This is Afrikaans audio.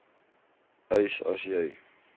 eis as jy